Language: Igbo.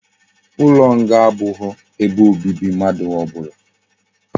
Ulo nga abughi ebe obibi mmadu obula